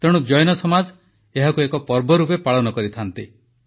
ତେଣୁ ଜୈନ ସମାଜ ଏହାକୁ ଏକ ପର୍ବ ରୂପେ ପାଳନ କରିଥାନ୍ତି